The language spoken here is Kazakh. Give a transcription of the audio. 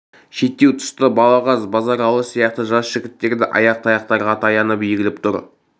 шеттеу тұста балағаз базаралы сияқты жас жігіттер де ақ таяқтарға таянып егіліп тұр